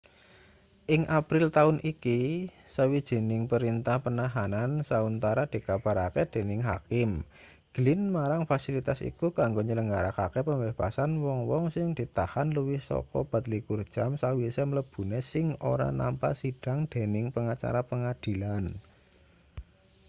ing april taun iki sawijining perintah penahanan sauntara dikabarake dening hakim glynn marang fasilitas iku kanggo nyelenggarakake pembebasan wong-wong sing ditahan luwih saka 24 jam sawise mlebune sing ora nampa sidhang dening pengacara pengadilan